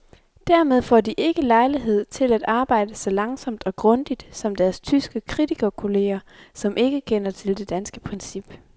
Dermed får de ikke lejlighed til at arbejde så langsomt og grundigt som deres tyske kritikerkolleger, som ikke kender til det danske princip.